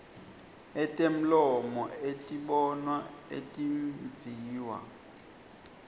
etemlomo etibonwa etimviwa